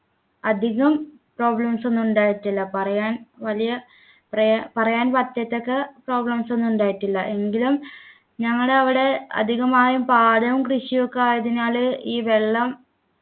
അധികം problems ഒന്നും ഉണ്ടായിട്ടില്ല പറയാൻ വലിയ പ്രയാ പറയാൻ പറ്റാത്തക്ക problems ഒന്നും ഉണ്ടായിട്ടില്ല എങ്കിലും ഞങ്ങടെ അവിടെ അധികമായും പാടവും കൃഷിയും ഒക്കെ ആയതിനാൽ ഈ വെള്ളം